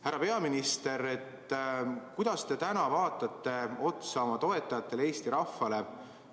Härra peaminister, kuidas te täna vaatate otsa oma toetajatele, Eesti rahvale?